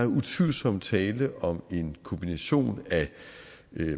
utvivlsomt tale om en kombination af